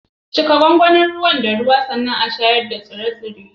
Cika gwangwanin ruwan da ruwa sannan a shayar da tsire-tsire.